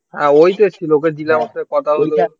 হ্যাঁ ওই তো ছিল ওকে জিজ্ঞাসা কথা হল